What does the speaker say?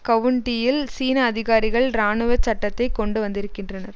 கவுண்டியில் சீன அதிகாரிகள் இராணுவ சட்டத்தை கொண்டு வந்திருக்கின்றனர்